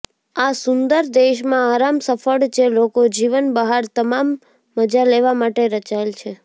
આ સુંદર દેશમાં આરામ સફળ જે લોકો જીવન બહાર તમામ મજા લેવા માટે રચાયેલ છે